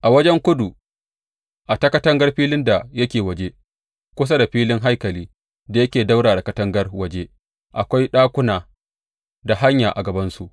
A wajen kudu a ta katangar filin da yake waje, kusa da filin haikali da yake ɗaura da katangar waje, akwai ɗakuna da hanya a gabansu.